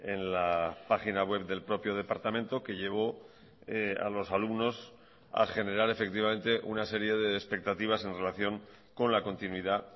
en la página web del propio departamento que llevó a los alumnos a generar efectivamente una serie de expectativas en relación con la continuidad